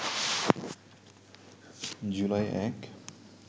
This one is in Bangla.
জুলাই ০১